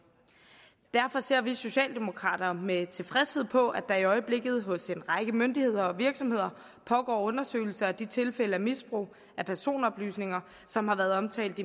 derfor ser vi socialdemokrater med tilfredshed på at der i øjeblikket hos en række myndigheder og virksomheder pågår undersøgelser af de tilfælde af misbrug af personoplysninger som har været omtalt